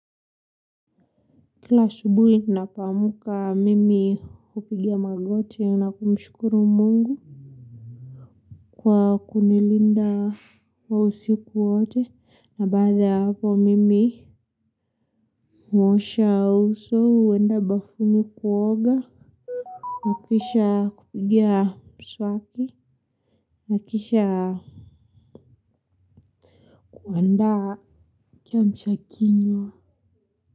Kila asubuhi ninapoamka mimi hupigia magoti na kumshukuru mungu. Kwa kunilinda kwa usiku wote na baada hapo mimi huosha uso. Huenda bafuni kuoga. Nakisha kupigia mswaki, nakisha kuanda kiamsha kinywa.